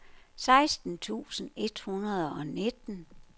seksten tusind et hundrede og nitten